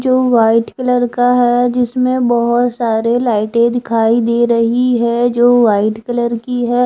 जो white colour का है जिसमें बहुत सारे लाइटें दिखाई दे रही है जो वाइट कलर की है।